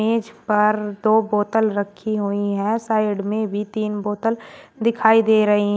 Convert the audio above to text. इस पर दो बोतल रखी हुई है साइड में भी तीन बोतल दिखाई दे रही है।